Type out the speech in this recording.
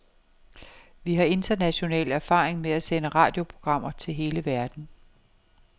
Vi har international erfaring med at sende radioprogrammer til hele verden.